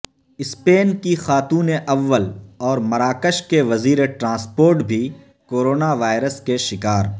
Spain کی خاتون اول اور مراکش کے وزیر ٹرانسپورٹ بھی کورونا وائرس کے شکار